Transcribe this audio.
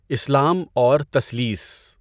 اسلام اور تثلیث